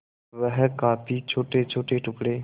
वह काफी छोटेछोटे टुकड़े